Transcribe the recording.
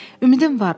Ümidim var.